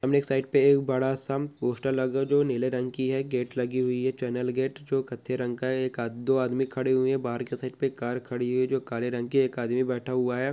सामने की साइड पे एक बड़ा सा पोस्टर लागरु नीले रंग की है ।गेट लगी हुई है। चैनल गेट जो कत्थई रंग का है। एक-दो आदमी खड़े हुए है। बहार की साइड पे कार खड़ी है। जो काले रंग की है। एक आदमी बैठा हुआ है।